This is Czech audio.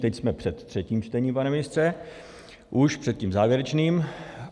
Teď jsme před třetím čtením, pane ministře, už před tím závěrečným.